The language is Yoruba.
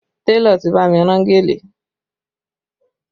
Télọ̀ ti bá mi rán gèlè